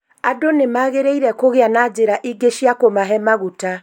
Andũ nĩmagĩrĩire kũgĩa na njĩra ingĩ cia kũmahe magũta